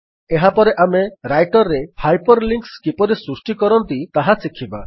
ଏହାପରେ ଆମେ ରାଇଟର୍ ରେ ହାଇପର୍ ଲିଙ୍କ୍ସ କିପରି ସୃଷ୍ଟି କରନ୍ତି ତାହା ଶିଖିବା